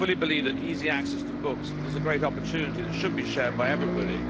I fully believe that easy access to books is a great opportunity that should be shared by everybody.